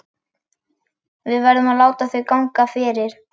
Við verðum að láta þau ganga fyrir.